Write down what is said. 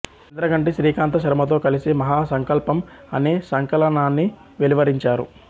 ఇంద్రగంటి శ్రీకాంత శర్మతో కలిసి మహా సంకల్పం అనే సంకలనాన్ని వెలువరించారు